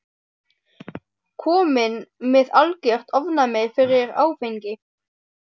Kominn með algert ofnæmi fyrir áfengi.